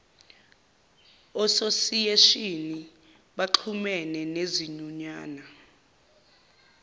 ososiyeshini baxhumene nezinyunyana